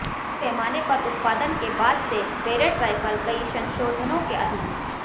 बड़े पैमाने पर उत्पादन के बाद से बैरेट राइफल कई संशोधनों के अधीन